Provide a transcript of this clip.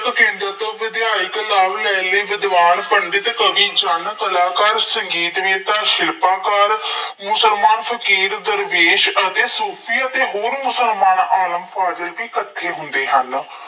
ਜਦੋਂ ਕੇਂਦਰ ਤੋਂ ਵਿਧਾਇਕ, ਲਾਲ, ਨਹਿਲੇ, ਵਿਦਵਾਨ, ਪੰਡਿਤ, ਕਵੀ ਜਨ-ਕਲਾਕਾਰ, ਸੰਗੀਤ ਨੇਤਾ, ਸ਼ਿਲਪਾਕਾਰ, ਮੁਸਲਮਾਨ, ਫਕੀਰ, ਦਰਵੇਸ਼, ਅਤੇ ਸੂਫੀਅਤ ਅਤੇ ਹੋਰ ਮੁਸਲਮਾਨ ਆਲਮ ਫਾਜ਼ਿਲ ਵੀ ਇਕੱਠੇ ਹੁੰਦੇ ਹਨ।